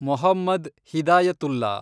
Mohammed Hidayatullah